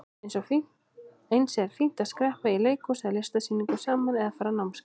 Eins er fínt að skreppa í leikhús eða á listasýningu saman eða fara á námskeið.